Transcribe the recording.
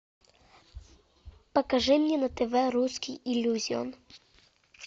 покажи мне на тв русский иллюзион